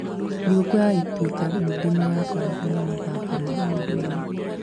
Thigũkũ ya Ituĩka ningĩ nĩ yakoragwo na mathako ma ũndũire.